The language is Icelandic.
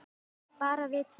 Bara við tvær.